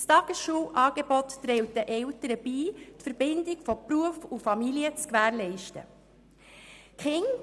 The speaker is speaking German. Das Tagesschulangebot trägt für die Eltern dazu bei, die Verbindung zwischen Beruf und Familie zu gewährleisten.